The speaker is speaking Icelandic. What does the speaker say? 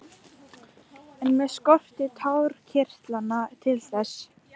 En mig skortir tárakirtlana til þess.